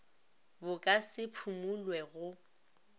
bo ka se phumulwe go